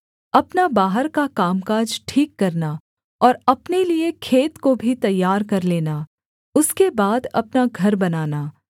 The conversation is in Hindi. अपना बाहर का कामकाज ठीक करना और अपने लिए खेत को भी तैयार कर लेना उसके बाद अपना घर बनाना